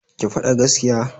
Ki fada gaskiya!